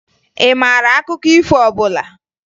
Ị maara akụkọ ifo ọbụla?